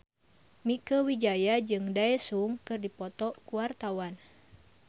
Mieke Wijaya jeung Daesung keur dipoto ku wartawan